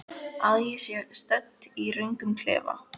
Að ég sé stödd í röngum klefa?